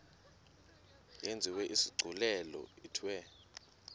yenziwe isigculelo ithiwe